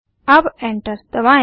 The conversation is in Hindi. अब एंटर दबाएं